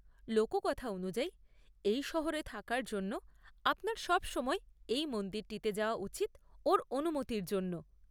লোককথা অনুযায়ী, এই শহরে থাকার জন্য আপনার সবসময় এই মন্দিরটিতে যাওয়া উচিৎ ওঁর অনুমতির জন্য ।